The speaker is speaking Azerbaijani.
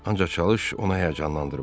Ancaq çalış onu həyəcanlandırma.